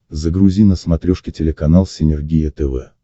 загрузи на смотрешке телеканал синергия тв